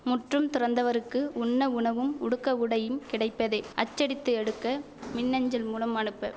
முற்றும் துறந்தவருக்கு உண்ண உணவும் உடுக்க உடையும் கிடைப்பதே அச்சடித்து எடுக்க மின் அஞ்சல் மூலம் அனுப்ப